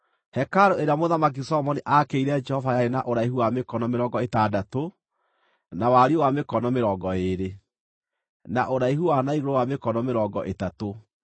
Hekarũ ĩrĩa Mũthamaki Solomoni aakĩire Jehova yarĩ na ũraihu wa mĩkono mĩrongo ĩtandatũ, na wariĩ wa mĩkono mĩrongo ĩĩrĩ, na ũraihu wa na igũrũ wa mĩkono mĩrongo ĩtatũ.